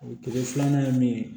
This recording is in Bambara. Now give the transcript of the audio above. O kile filanan ye min ye